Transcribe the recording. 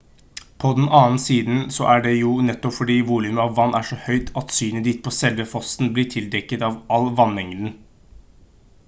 på den annen side så er det jo nettopp fordi volumet av vann er så høyt at synet ditt på selve fossen blir tildekket av all vannmengden